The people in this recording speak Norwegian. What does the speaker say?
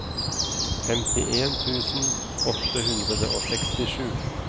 femtien tusen åtte hundre og sekstisju